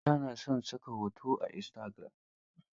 Mata na son saka hotuna a Istagiram.